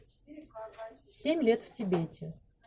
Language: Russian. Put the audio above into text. семь лет в тибете